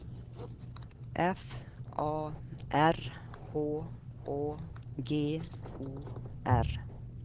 F A R H Å G O R